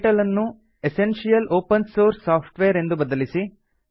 title ಅನ್ನು essential open source software ಎಂದು ಬದಲಿಸಿ